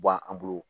Bɔn an bolo